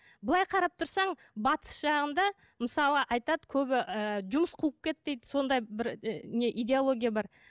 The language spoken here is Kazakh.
былай қарап тұрсаң батыс жағында мысалы айтады көбі ііі жұмыс қуып кетті дейді сондай бір і не идеология бар